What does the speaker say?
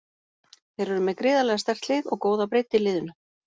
Þeir eru með gríðarlega sterkt lið og góða breidd í liðinu.